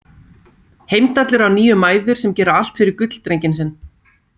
Heimdallur á níu mæður sem gera allt fyrir gulldrenginn sinn.